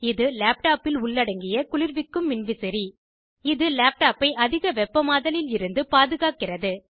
இது லேப்டாப்பில் உள்ளடங்கிய குளிர்விக்கும் மின்விசிறி இது லேப்டாப்பை அதிக வெப்பமாதலில் இருந்து பாதுகாக்கிறது